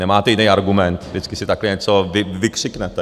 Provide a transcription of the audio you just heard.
Nemáte jiný argument, vždycky si takhle něco vykřiknete.